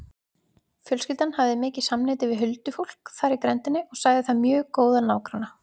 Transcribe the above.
Fjölskyldan hafði mikið samneyti við huldufólk þar í grenndinni og sagði það mjög góða nágranna.